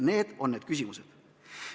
Need on need küsimused.